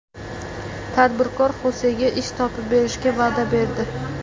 Tadbirkor Xosega ish topib berishga va’da berdi.